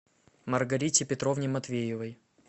маргарите петровне матвеевой